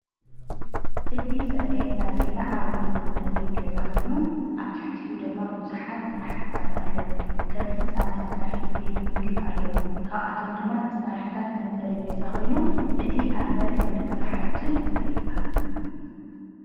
እዚ ዝረአየና ዘሎ ዓብይ ናይ መንበሪ ገዛ ኾይኑ ኣብ ትሕቲኡ ድማ ብዙሓት ስራሕትታት ኣለው። ከም ህንፃ መሳርሒ ቤት ምግቢ ኣለው። ካብኣቶም ድማ መሳርሕታት መንበሪ ገዛ ኾይኑ እቲ ኣብ መሬት ዝርከብ ሓጪን እንታይ ይባሃል?